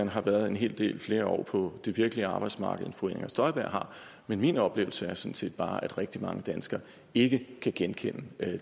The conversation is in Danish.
har været en hel del flere år på det virkelige arbejdsmarked end fru inger støjberg har men min oplevelse er sådan set bare at rigtig mange danskere ikke kan genkende